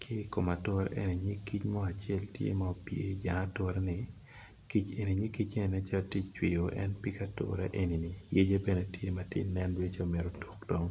ki kom ature eni nyig kic mo acel tye ma opye i jang ature-ni nyig kic eni nen calo tye ka cwiyo en pig ature enini yece bene tye ka nen calo mito tuk dong.